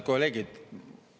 Kolleegid!